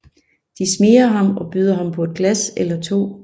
De smigrer ham og byder ham på et glas eller to